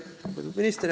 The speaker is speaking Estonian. Lugupeetud minister!